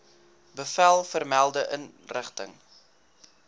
bevel vermelde inrigting